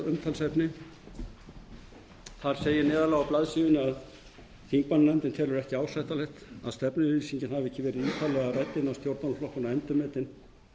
umtalsefni þar segir neðarlega á blaðsíðunni að þingmannanefndin telur ekki ásættanlegt að stefnuyfirlýsingin hafi ekki verið ítarlega rædd innan stjórnmálaflokkanna og endurmetin